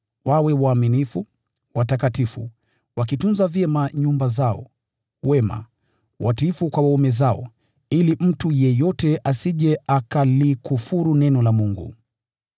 wawe waaminifu, watakatifu, wakitunza vyema nyumba zao, wema, watiifu kwa waume zao, ili mtu yeyote asije akalikufuru neno la Mungu.